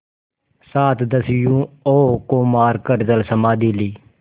सात दस्युओं को मारकर जलसमाधि ली